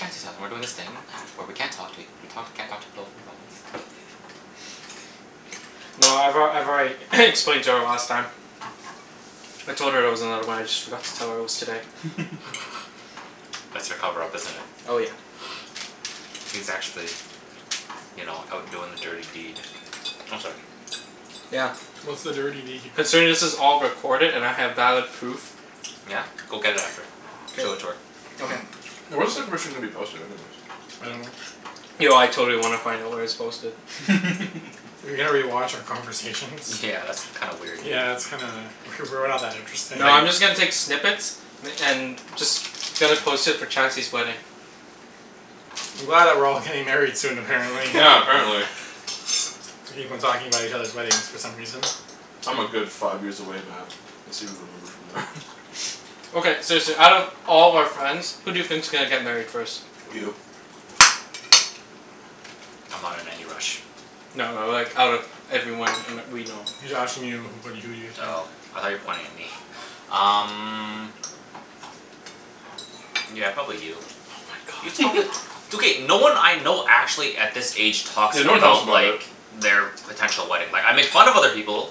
Chancey's hou- and we're doing this thing where we can't talk to ea- we talk, we can't talk to people from phones. No, I've al- I've already explained to her last time. I told her there was another one, I just forgot to tell her it was today. That's your cover up, isn't it? Oh yeah. He's actually you know, out doing the dirty deed. Oh, sorry. Yeah. What's the dirty deed? Considering this is all recorded and I have valid proof. Yeah? Go get it after. K. Show it to her. Okay. Where's the information gonna be posted, anyways? I dunno. Yo, I totally wanna find out where it's posted. rewatch our conversation? Yeah, that's kind of weird, dude. Yeah, that's kinda W- we're not that interesting. No, I'm They just gonna take snippets m- and just gonna post it for Chancey's wedding. I'm glad that we're all getting married soon, apparently. Yeah, apparently. We keep on talking about each other's weddings for some reason. I'm a good five years away, Mat. Okay, seriously, out of all our friends, who do you think's gonna get married first? You. I'm not in any rush. No, like, out of everyone in we know. He's asking you who wh- who do you think? Oh, I thought you were pointing at me. Um Yeah, probably you. Oh my god. It's okay. No one I know actually, at this age, talks Yeah, no one talks about about like it. their potential wedding. Like, I make fun of other people.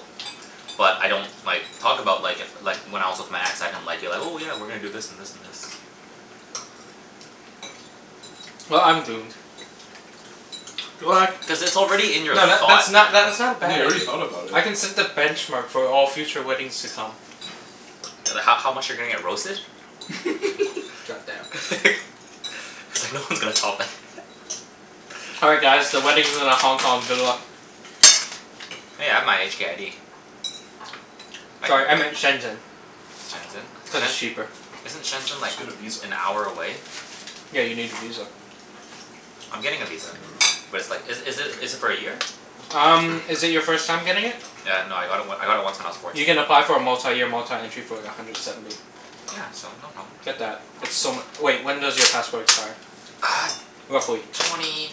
But I don't like, talk about like, if like, when I was with my ex, I didn't like, be like, "Oh yeah, we're gonna do this and this and this." Well, I'm doomed. What? Cuz it's already in your No, tha- thought, that's man. not that's not a Yeah, bad you already idea. thought about it. I can set the benchmark for all future weddings to come. Th- h- how much you're gonna get roasted? God damn. He's like, "No one's gonna top that." All right, guys, the wedding's in a Hong Kong. Good luck. Hey, I have my HK ID. I can Sorry, I go. meant Shenzhen, Shenzhen? cuz Shen- it's cheaper. Isn't Shenzhen Just like, get a visa. an hour away? Yeah, you need a visa. I'm getting a visa. But it's like, is is it is it for a year? Um, is it your first time getting it? Yeah, no, I got it w- I got it once when I was You fourteen. can apply for a multi-year, multi-entry for like, a hundred seventy. Yeah, so no problem. Get that. It's so mu- wait, when does your passport expire? Uh Roughly? twenty,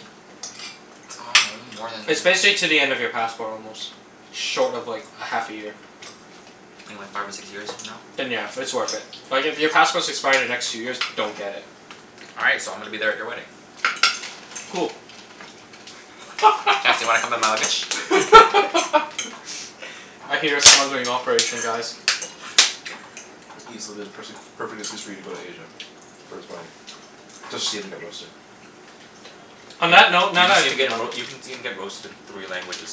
I dunno, more than It's basically to the end of your passport almost. Short of like, a half a year. Maybe like five or six years from now? Then yeah, it's worth it. Like, if your passports expire the next two years, don't get it. All right, so I'm gonna be there at your wedding. Cool. Chancey, wanna come in my luggage? I hear a smuggling operation, guys. Ibs, it'll be the pers- the perfect excuse for you to go to Asia. For his wedding. Just to see him get roasted. On Y- that note you can see him get roa- you can see him get roasted in three languages.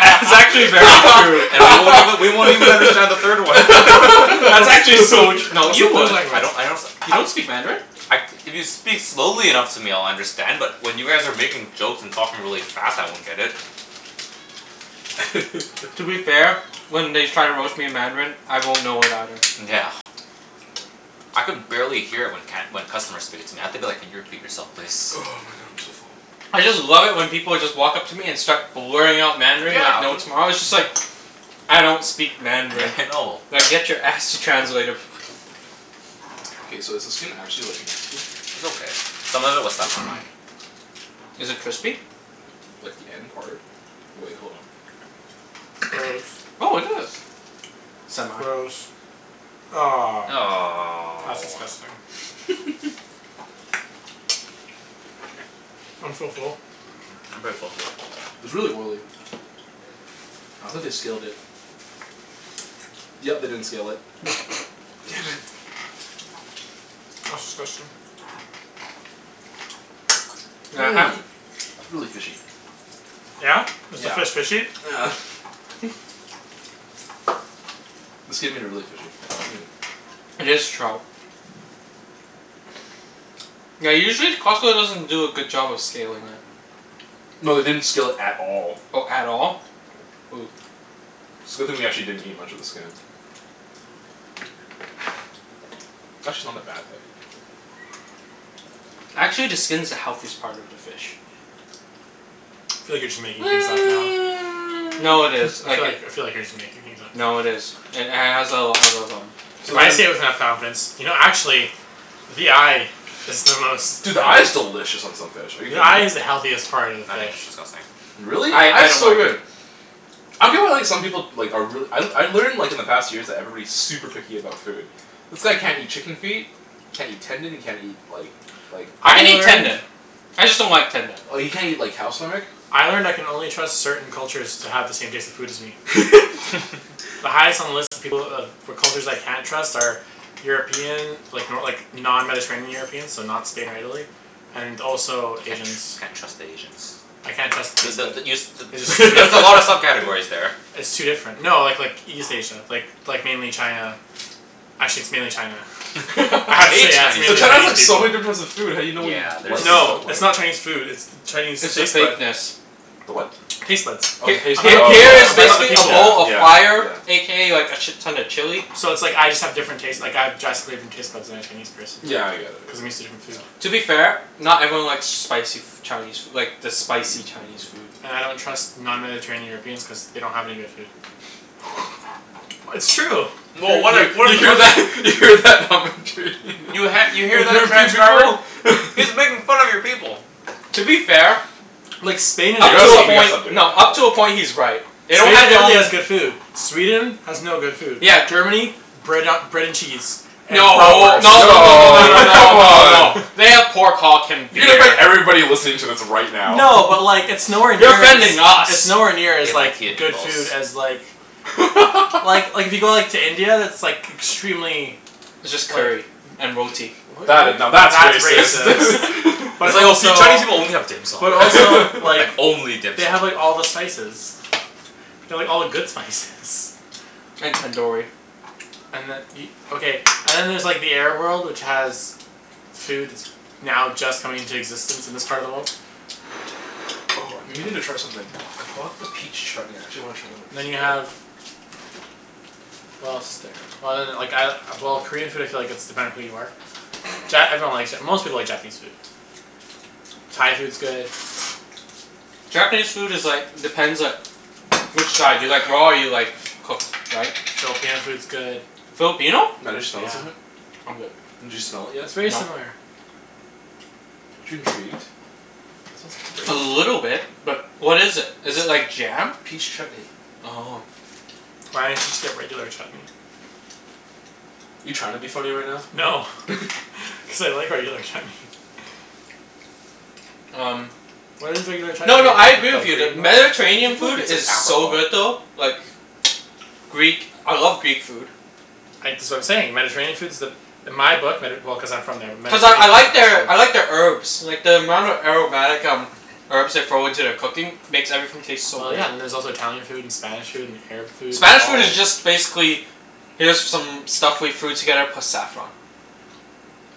That's actually very true. And we won't even, we won't even understand the third one. That's actually so tr- no, you What would. I don't language? I don't s- You don't speak Mandarin? I, if you speak slowly enough to me I'll understand, but when you guys are making jokes and talking really fast, I won't get it. To be fair, when they try to roast me in Mandarin, I won't know it either. Yeah. I can barely hear it when can- when customers speak it. I have to be like, "Can you repeat yourself, please?" Oh my god, I'm so full. I just love it when people just walk up to me and start blurring out Mandarin Yeah, like no m- tomorrow. It's just like I don't speak Yeah, Mandarin. I know. Now get your ass to translator. K, so is the skin actually like nasty? It's okay. Some of it was stuck on mine. Is it crispy? Like the end part. Wait, hold on. Gross. Oh, it is. Semi. Gross. Ah. That's Aw. disgusting. I'm so full. Mm, I'm pretty full too. It's really oily. I don't think they scaled it. Yep, they didn't scale it. Damn it. That's disgusting. Yeah, half Mmm. It's really fishy. Yeah? Is the Yeah. fish fishy? Yeah. The skin made it really fishy. Mm. It is trout. Yeah, usually Costco doesn't do a good job of scaling it. No, they didn't scale it at all. Oh, at all? Ooh. It's a good thing we didn't actually eat much of the skin. Actually not a bad thing. Actually, the skin's the healthiest part of the fish. I feel like you're just making things up now. No, it is. I feel Like it like, I feel like you're just making things up now. No, it is. It h- has a a lot of um So If I then say it with enough confidence. You know actually the eye is the most Dude, the eye is delicious on some fish. Are you The kidding eye me? is the healthiest part of the I think fish. it's disgusting. Really? I Eye I is don't so like Mm. it. good. I feel well like some people like are reall- I I learned like in the past years that everybody's super picky about food. This guy can't eat chicken feet can't eat tendon, he can't eat like like I I can eat learned tendon. I just don't like tendon. Or you can't eat like cow stomach. I learned I can only trust certain cultures to have the same taste in food as me. The highest on the list of people of for cultures I can't trust are European like, no like, non-mediterranean Europeans. So not Spain or Italy. And also Can't Asians. tr- can't trust Asians. I can't trust B- their taste but the bud. you s- t- I just there's a lot of sub-categories there. It's too different. No, like like, East Asia. Like, like mainly China. Actually, it's mainly China. Hate Actually, yeah. It's But mainly China's Chinese Chinese food. like, so people. many difference of food how do you know what you Yeah, like there's and don't No, it's like? not Chinese food, it's the Chinese It's the taste bud. fakeness. The what? Taste buds. Oh, the H- Of taste bud. h- all Oh people. here yeah, is Of all yeah, the basically a people. bowl yeah, of fire yeah. a k a like a shit ton of chili. So it's like, I just have different taste, like, I have drastically different taste buds than a Chinese person. Yeah, I get it. Cuz I'm used to different Yeah, food. yeah. To be fair, not everyone likes spicy f- Chinese like, the spicy Chinese food. And I don't trust non-mediterranean Europeans cuz they don't have any good food. W- it's true! Well, what You if we're you the hear pers- that? You hear that? You ha- you hear that, transcriber? He's making fun of your people. To be fair Like, We Spain and up gotta to a Italy stop, we gotta point, stop doing that, no, up to a right? point he's right. They don't Only have their Italy own has good food. Sweden has no good food. Yeah. Germany? Bread a- bread and cheese. And No. No no no no No, no no come no no. on. They have pork hulk and You gonna offend beer. everybody listening to this right now. No, but like, it's nowhere You're near as offending it's us. nowhere near They as like, like good food as like Well, like, if you go like, to India, that's like extremely It's just curry. like And roti. W- That i- now, w- that's that's racist. racist. But That's like, "Oh see, also Chinese people only have dim sum." But also Like, like only dim they have sum. like all the spices. They have all the good spices. And tandoori. And then e- Okay, and then there's like, the Arab world, which has food that's now just coming into existence in this part of the world. Oh, I've been meaning to try something. I bought the peach chutney. I actually wanna try it on a And piece then of you bread. have what else is there? Well then, like I, well, Korean food I feel like it's dependent who you are. Ja- everyone likes Ja- most people like Japanese food. Thai food's good. Japanese food is like, depends like which side. Do you like raw or you like cooked, right? Filipino food's good. Filipino? Yeah. I'm good. Did you smell it yet? It's very No. similar. Aren't you intrigued? A Smells great. little bit. But what is it? Is it It's like jam? Peach chutney. Oh. Why didn't you just get regular chutney? You trying to be funny right now? No. Cuz I like regular chutney. Um Why does regular chutney No, no, I agree with you that I Mediterranean think like food it's an is so good apricot. though. Like Greek, I love Greek food. I, that's what I'm saying. Mediterranean food's the In my book, Medi- well, cuz I'm from there. Cuz I I like their I like their herbs. Like the amount of aromatic um herbs they throw into their cooking makes everything taste so Well, good. yeah. And then there's also Italian food, and Spanish food, and Arab food. Spanish food is just basically here's some stuff we threw together plus saffron.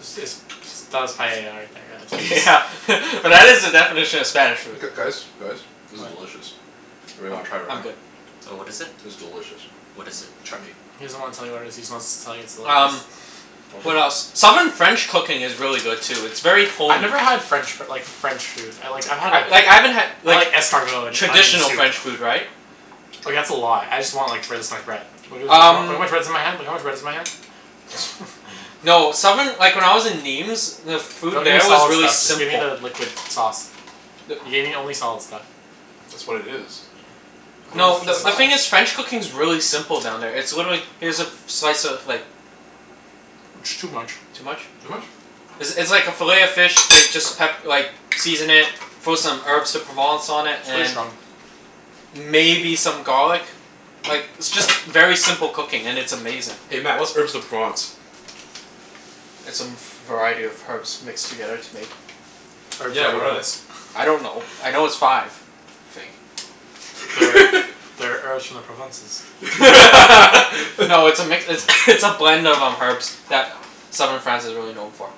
Is this ps- that was paella right there, Yeah yeah but that is the definition of Spanish food. G- guys? Guys? This is What? delicious. Anyone I'm wanna try it I'm right now? good. Oh, what is it? It's delicious. What is it? Chutney. He doesn't wanna tell you what it is. He just wants to tell you it's delicious. Um What Want some? else? Southern French cooking is really good too. It's very I've homey. never had French f- like, French food. I like, I've had a Like, I haven't had I like like escargot, and traditional onion soup. French food, right? Like, that's a lot. I just want like, finish my bread. Look how Um much bread is in my hand. Look at how much bread's in my hand. no, southern like, when I was in Nîmes the food Don't give me there was solid really stuff. Just give me simple. the liquid sauce. You The gave me only solid stuff. That's what it is. No, the the the thing is sauce. French cooking's really simple down there. It's literally, here's a f- slice of like It's too much. Too much? Too much? It's it's like a fillet of fish they just pep- like season it, throw some Herbes de Provence on it, Too and strong. maybe some garlic. Like, it's just very simple cooking, and it's amazing. Hey Mat, what's Herbes de Provence? It's a m- variety of herbs mixed together to make Herbes de Yeah, what are they? Provence. I don't know. I know it's five. I think. That are that are herbs from the Provences. No, it's a mix, it's it's a blend of um, herbs that southern France is really known for.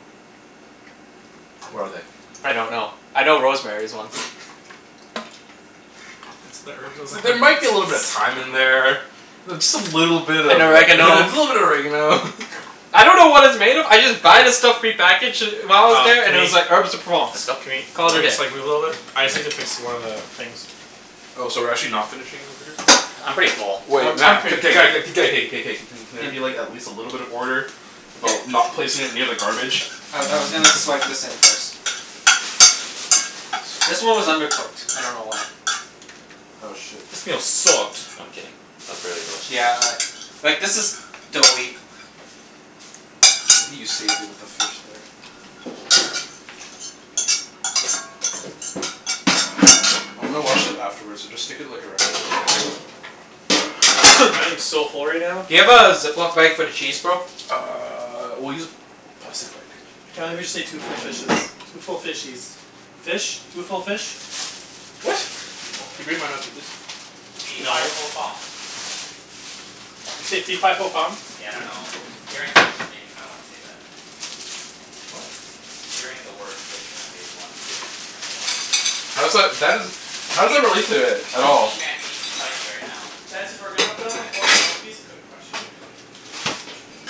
What are they? I don't know. I know rosemary's one. It's the herbs of the There might be a little bit of Provences. thyme in there. Th- just a little bit of a And little bit oregano. of oregano. I don't know what it's made of. I just buy the stuff prepackaged d- while I was Um, there, can and it was like, we Herbes de Provence. It's can not Cana- we, Call can it a we day. just like, move a little bit? I just need to fix one of the things. Oh, so we're actually not finishing over here? I'm pretty full. Um, Wait I'm Mat, pretty k- g- g- k- g- g- k- k- k- k. Can there be like, at least a little bit of order? About not placing it near the garbage? I I was gonna swipe this in first. I see This one was undercooked. I don't know why. Oh shit. This meal sucked. I'm kidding. It was really delicious, Yeah actually. a Like this is doughy. You saved it with the fish there. I'm gonna wash it afterwards, so just stick it like around. I am so full right now. Do you have a Ziploc bag for the cheese, bro? Uh, we'll use a plastic bag. Can't believe we just ate two full fishes. Two full fishies. Fish? Two full fish? Yeah, I What? think it's just two full Can you bring fish. mine out too, please? Fee fi No. fo fum. Did you say fee fi fo fum? Yeah, I dunno. Hearing fish just kinda made me wanna say that. What? Hearing the word fish kinda made me wanna say that. I dunno why. How's that, that isn't How does that relate to it at Fight me, all? Chancey. Fight me right now. Chancey, if we're gonna put it on the floor can we move these cu- or actually, can you c- can you move these cushions?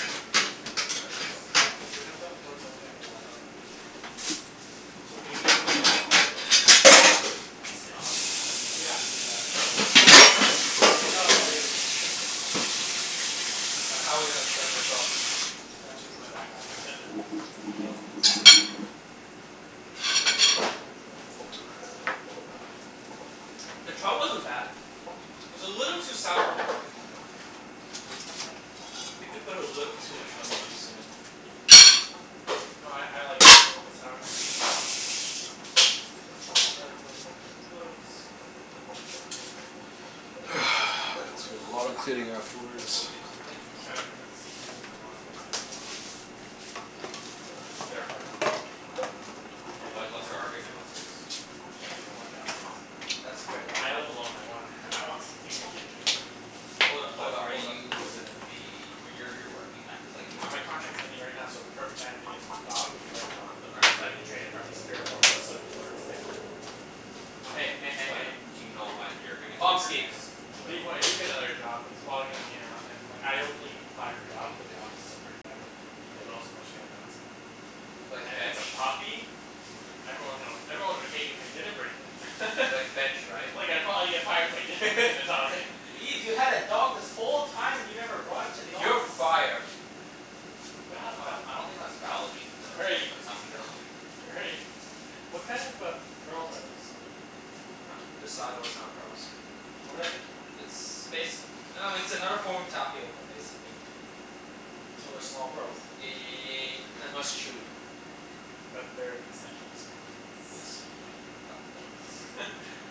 Move the These cushions? ones. Cuz if we're gonna put on the floor, someone's gonna get blocked off by those. So can you just put them in the hallway over there? Can we sit on them? Yeah, we can do that. That makes sense. Ah, good one. All right, how are we gonna set this up? Uh, my backpack and then we can put it in the middle. The trout wasn't bad. It was a little too sour for my liking, though. I think we put a little too much lemon juice in it. No, I I like it a little bit sour. I like lemon. Lemon's When That's life gives you gonna be lemons a lot of cleaning Red Bull afterwards. gives you I'm wings. trying to convince convince my mom to let me have a dog. L- like Cuz it's their apartment. Oh. And I What what's can't her argument? What's yours? She doesn't like animals. That's a great But I help argument. live alone. I want I want something to keep me company. Hold up, But hold up, are hold up. you gonna be W- y- you're working, like it's like you Uh, work my contract's ending right now, so the perfect time to get an dog would be right now. But aren't are So I you can train it for at least three or four months so it can learn to stay at home alone. Hey, hey, hey, hey, But hey. do you know when you're gonna get your Pomski. next But even when I job? do get another job it's probably gonna be in a, in like, I only apply for jobs where the offices are pretty friendly. And most of them let you have dogs there. Like And if it's bench? a puppy? Everyone hill, everyone would hate me if I didn't bring it. Like bench, right? Well, yeah, probably if I if I didn't bring the It's dog in. like, "Ibs, you had a dog this whole time and you never brought it to the office?" "You're fired." They I don't have I a I don't think that's valid reason to Right. let someone go. Right. What kind of a p- pearls are those? Sago. Huh? This sago Sago. is not pearls. What are they? It's bas- I dunno, it's another form of tapioca I basically. So they're small pearls? Ye- and less chewy. But they're essentially small Yes. pearls? Fuck, that looks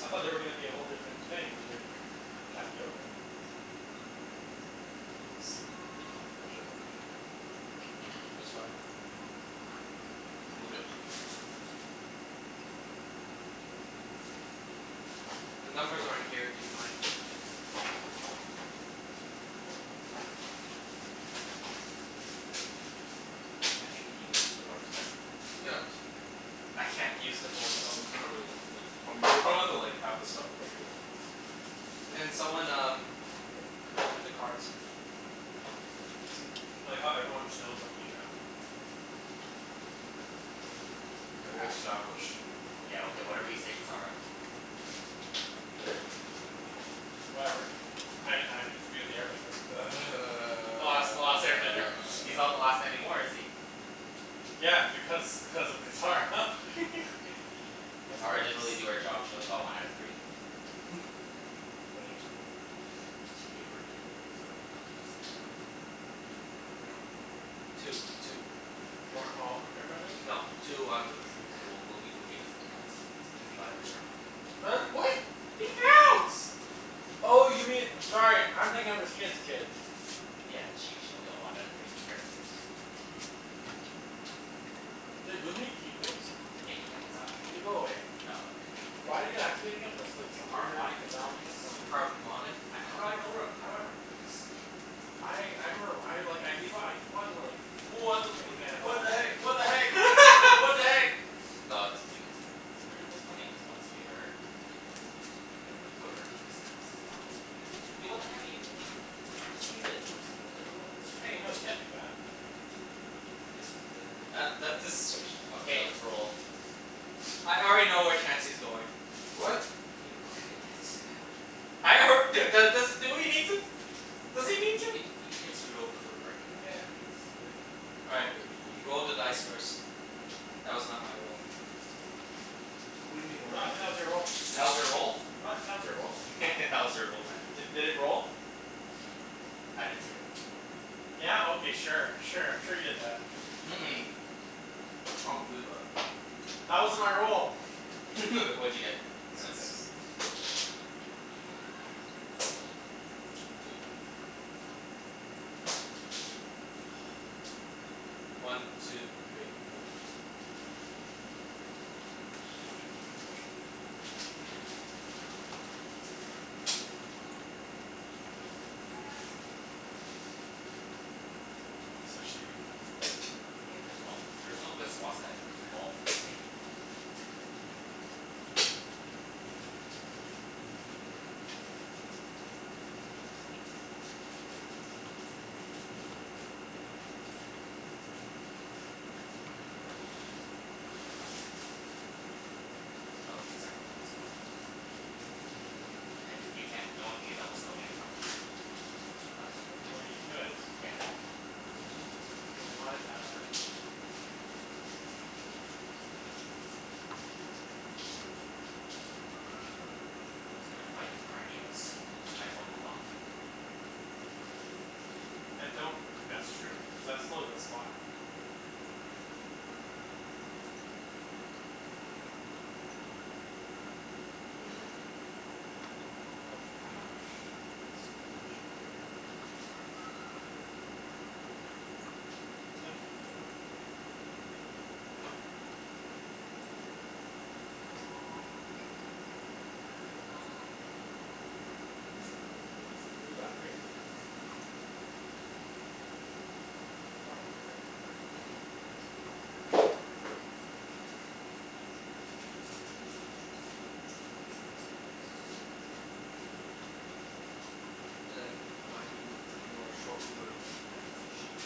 I thought they were gonna be a whole different thing, but they're for tapioca. should have bought a table. It's fine. Move it to here so Chancey The numbers are in here. Do you mind? Yeah. Chancey, can you use the board from there? Yeah, I can see it. I can't use the board though. We can probably like probably, you'll probably have to like have the stuff over here though. Okay. Can someone um, open the cards? See if it I like how everyone just knows I'm blue now. Well Crap. established. Yeah, okay, whatever you say Catara. What does that mean? Whatever. I I get to be with the air bender. The last the last air bender. He's not the last anymore, is he? Yeah, because because of Catara. That's Catara gross. didn't really do her job. She only got one out of three. What do you mean? Like she gave birth to three kids but only one was an air bender. No. Two. Two were. Weren't all of them air benders? No. Two out of the three were. Okay, well Boomy Boomy doesn't count. Cuz he got it later on. Her, what? He counts. Oh, you mean, sorry, I'm thinking of his kid's kids. Yeah. She she only got one out of three. Air benders. Did Boomy keep his? Yeah, he kept his after. Did it go away? No, it again? Cuz like, some weird Harmonic phenomeno- convergence. oh. Harmonic A- how do I fucking know rem- how do I remember this? I I remember, I like, I keep o- I keep on like What the fu- thinking I never what the watched heck? it. What the heck? What the heck? G- aw, this is pretty good too. There's pret- there's plenty of good spots here. Here's pretty good. But whoever, this is this is not gonna be used. Yo, what the heck are you doing? Just keep it. No, just keep it like it was. Hey, no, you can't do that. This is good, that's That that okay. this is s- fucked K, up. let's roll. I already know where Chancey's going. What? He didn't even look at it yet. Hold on. I alr- dude. Dude do- does do we need to? Yeah, Does he but need you could to? you could get screwed over for brick and Yeah. wheat. All Oh right. okay, just make You you sure. Roll the dice first. That was not my role. What do you mean your roll. That No. was your roll? your roll. That was your roll, man. D- did it roll? I didn't see it. Yeah? Okay, sure. Sure, I'm sure you did that. Mm- mm. I don't believe that. That wasn't my roll! W- what'd you get? I got six. Two. One two three four. I'm actually gonna move my couch outta the way for this. It's so shitty. Yeah, there's no there's no good spots that involve three. Oh wait, except for that one spot. You can't, no one can get double stone anymore. Unless you put it Well, here. you could. Yeah. If you really want it that bad. No one's gonna fight you for any of this. Just might as well move up. I don't think that's true. Cuz that's still a good spot. Yeah, okay. Like, I don't I hate this so much. Who's next? Me. Who's after you? Uh Me. and then No, I'm, what? Mhm. Wait, what? Yeah, that's what I'm thinking right now. Press the odds. But then keep in mind you you are short wood, wheat, and sheep.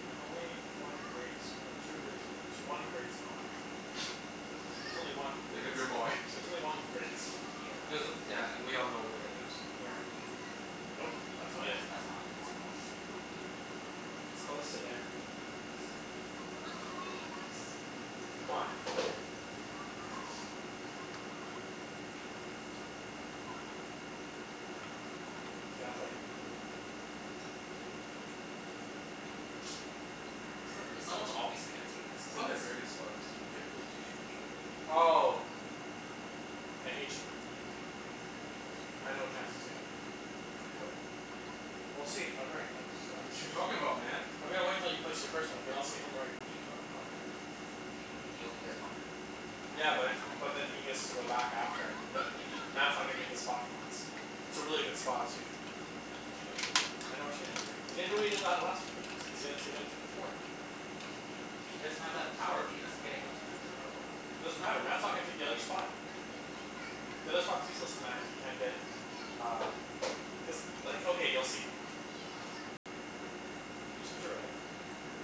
There's only one great s- no, two good spo- tw- one great spot. There's only one great Make up your s- mind. There's only one great spot. Yeah. There's, yeah, and we all know where it is. Where? Nope. That's not Yeah that's it. that's not a great spot. It's close to there. Yeah, it's here. Obvious. Come on, Mat. See, that's why I didn't put my ruin there. That's not Mm, a k, good as sp- someone's obviously gonna take that That's spot. not a very good spot cuz you can't really do too much with it. Oh! I hate you. I know what Chancey's gonna do. What? We'll see if I'm right. I'm s- Wh- I'm what you s- talking about, man? I'm gonna wait until you place your W- first one, w- then I'll what see if I'm w- right. what you talking about, man? He, what do you, he only has one in a Yeah, That's but the one but then he he has gets to move. to go back after and n- and he Mat's not gonna take the spot he wants. It's a really good spot, too. What you what you talking about, man? I know what you're gonna do. He's gonna do what he did that last few games. He's gonna take a tw- a port. What But he you talking doesn't about? have that power. B- he doesn't get to go two times in a row. Doesn't matter. Mat's not gonna take the other spot. The other spot's useless to Mat if he can't get uh cuz, like, okay, you'll see. Can you just put your red down? Yeah.